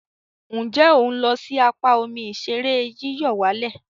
Nje o n lo si apa omi ìṣeré yíyọ̀wálẹ̀?